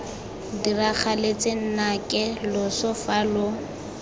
diragaletse nnake loso fa lo